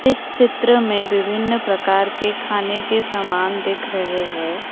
इस चित्र में विभिन्न प्रकार के खाने के सामान दिख रहे हैं।